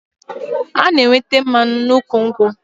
A na-enweta mmanụ n'ụkwụ nkwụ